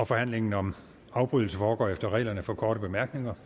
forhandlingen om afbrydelse foregår efter reglerne for korte bemærkninger